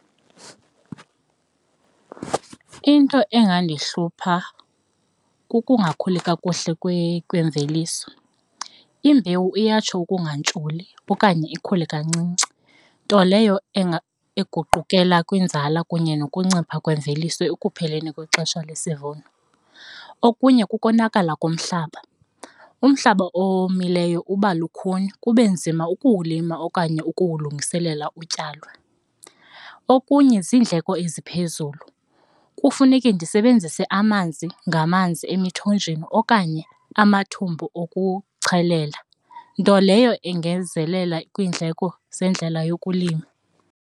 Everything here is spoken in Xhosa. Into engandihlupha kukungakhuli kakuhle kwemveliso, imbewu iyatsho ukungantsholi okanye ikhule kancinci nto leyo eguqulelwa kwinzala kunye nokuncipha kwemveliso ekupheleni kwexesha lesivuno. Okunye kukonakala komhlaba, umhlaba owomileyo uba lukhuni kube nzima ukuwulima okanye ukuwulungiselela utyalwa. Okunye ziindleko eziphezulu, kufuneke ndisebenzise amanzi ngamanzi emithonjeni okanye amathumbu okuchelela nto leyo ingenzelela kwiindleko zendlela yokulima.